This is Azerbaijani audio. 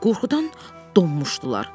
Qorxudan donmuşdular.